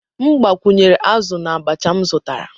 M gbakwunyere azụ na abacha m zụtara.